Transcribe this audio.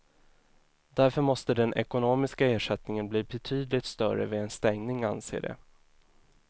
Därför måste den ekonomiska ersättningen bli betydligt större vid en stängning, anser de.